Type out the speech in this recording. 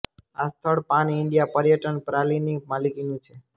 આ સ્થળ pan India પર્યટન પ્રા લિ ની માલિકી નું છે